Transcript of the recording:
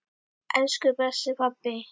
Elsku besti pabbi!